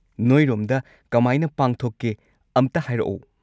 ꯅꯣꯏꯔꯣꯝꯗ ꯀꯃꯥꯏꯅ ꯄꯥꯡꯊꯣꯛꯀꯦ ꯑꯝꯇ ꯍꯥꯏꯔꯛꯑꯣ꯫